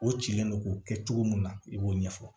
O cilen don k'o kɛ cogo min na i b'o ɲɛfɔ